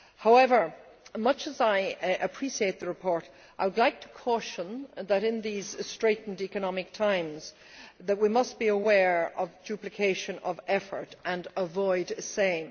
However, much as I appreciate the report, I would like to caution that in these straitened economic times we must be aware of duplication of effort and avoid same.